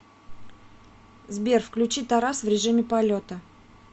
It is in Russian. сбер включи тарас в режиме полета